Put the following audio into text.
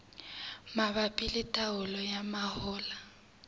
mabapi le taolo ya mahola